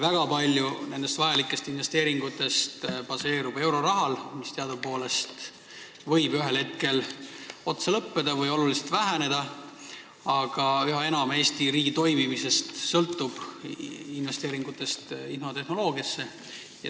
Väga palju vajalikest investeeringutest baseerub eurorahal, mis teadupoolest võib ühel hetkel otsa lõppeda või tuntavalt väheneda, aga Eesti riigi toimimine sõltub üha enam investeeringutest infotehnoloogiasse.